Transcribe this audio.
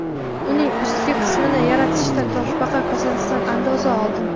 Uning ustki qismini yaratishda toshbaqa kosasidan andoza oldim.